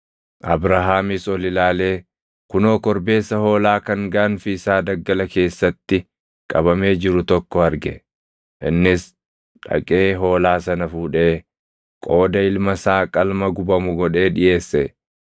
Abrahaamis ol ilaalee kunoo korbeessa hoolaa kan gaanfi isaa daggala keessatti qabamee jiru tokko arge; innis dhaqee hoolaa sana fuudhee qooda ilma isaa qalma gubamu godhee dhiʼeesse.